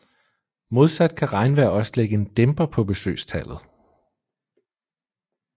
Modsat kan regnvejr også lægge en dæmper på besøgstallet